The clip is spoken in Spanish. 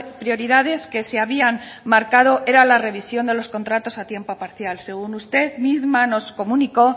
prioridades que se habían marcado era la revisión de los contratos a tiempo parcial según usted misma nos comunicó